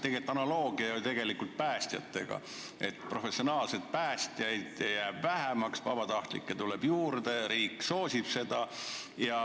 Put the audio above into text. Siin on analoogia päästjatega: professionaalseid päästjaid jääb vähemaks, vabatahtlikke tuleb juurde ja riik soosib seda.